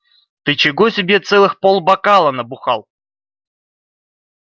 ты чего себе целых полбокала набухал